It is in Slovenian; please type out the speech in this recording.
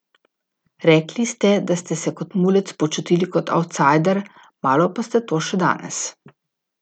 Rekli ste, da ste se kot mulec počutili kot avtsajder, malo pa ste to še danes ...